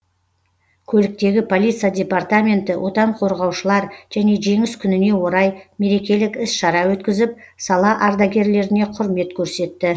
көліктегі полиция департаменті отан қорғаушылар және жеңіс күніне орай мерекелік іс шара өткізіп сала ардагерлеріне құрмет көрсетті